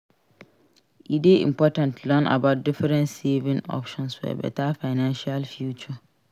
E dey important to learn about different saving options for beta financial future.